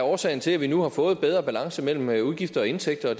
årsag til at vi nu har fået bedre balance mellem mellem udgifter og indtægter og